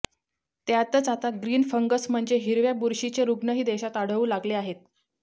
त्यातच आता green fungus म्हणजेच हिरव्या बुरशीचे रुग्णही देशात आढळू लागले आहेत